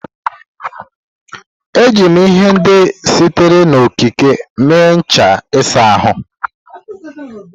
Eji m ihe ndị sitere n'okike mee ncha ịsa ahụ.